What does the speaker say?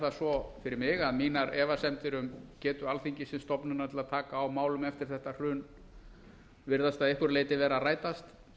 það svo fyrir mig að mínar efasemdir um getu alþingis sem stofnunar til að taka á málum eftir þetta hrun virðast að einhverju leyti vera að rætast